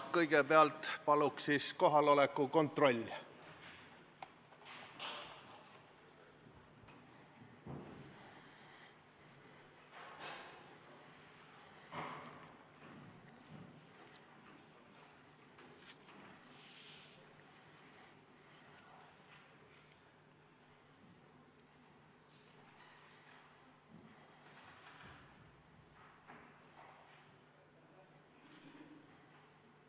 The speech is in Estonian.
Kõigepealt palun kohaloleku kontroll!